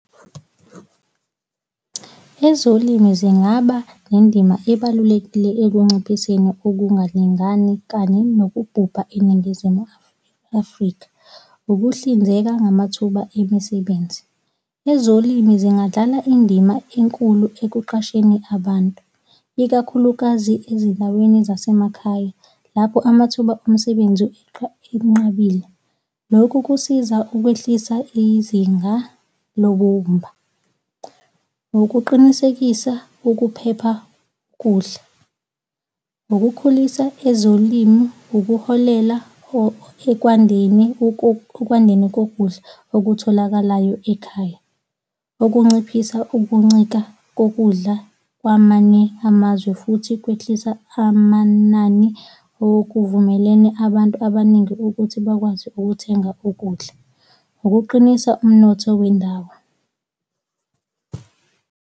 Ezolimo zingaba nendima ebalulekile ekunciphiseni ukungalingani kanye nokubhubha eNingizimu Afrika. Ukuhlinzeka ngamathuba emisebenzi. Ezolimi zingadlala indima enkulu ekuqasheni abantu, ikakhulukazi ezindaweni zasemakhaya lapho amathuba omsebenzi enqabile. Lokhu kusiza ukwehlisa izinga lobumba. Nokuqinisekisa ukuphepha kokudla, nokukhulisa ezolimo, ukuholela ekwandeni, ekwandeni kokudla okutholakalayo ekhaya, okunciphisa ukuncika kokudla kwamanye amazwe futhi kwehlisa amanani okuvumelene abantu abaningi ukuthi bakwazi ukuthenga ukudla. Ukuqinisa umnotho wendawo.